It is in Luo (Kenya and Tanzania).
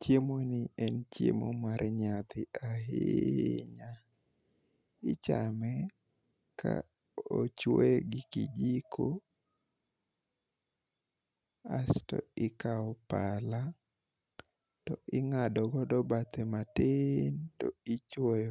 Chiemo ni en chiemo mar nyadhi ahinya. Ichame ka ochuoye gi kijiko asto ikawo pala to ing'ado godo bathe matin to ichuoye